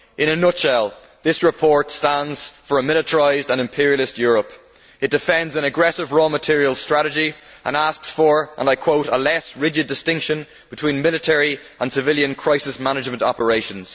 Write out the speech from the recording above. In a nutshell, this report stands for a militarised and imperialist Europe. It defends an aggressive raw materials strategy and asks for, and I quote, a less rigid distinction between military and civilian crisis management operations'.